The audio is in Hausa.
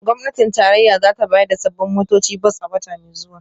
Gwamnatin tarayya za ta bayar da sabbin motocin bas a wata mai zuwa